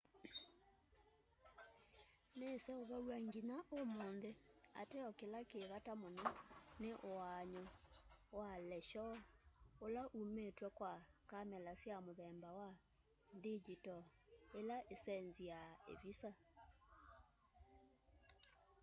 niseuvaw'a nginya umunthi ateo kila ki vata muno ni uaany'o wa leshoo ula umitw'e kwa kamela sya muthemba wa ndingyitol ila isenziaa ivisa